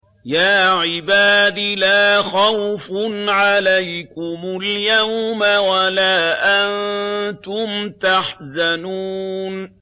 يَا عِبَادِ لَا خَوْفٌ عَلَيْكُمُ الْيَوْمَ وَلَا أَنتُمْ تَحْزَنُونَ